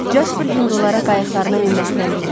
Jasper hindulara qayıqlarına minməsini əmr elədi.